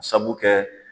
Sabu kɛ